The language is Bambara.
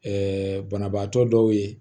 banabaatɔ dɔw ye